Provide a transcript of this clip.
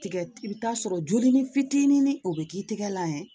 Tigɛ i bi t'a sɔrɔ joli ni fitinin o be k'i tɛgɛ la ye